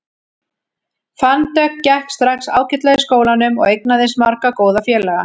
Fönn Dögg gekk strax ágætlega í skólanum og eignaðist marga góða félaga.